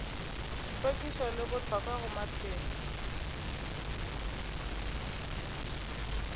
hlwekišo e bohlokwa go maphelo